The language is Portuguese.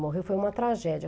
Morreu, foi uma tragédia.